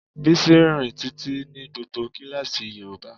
Bísí rírìn títí ní gbogbo kíláàsì yoruba.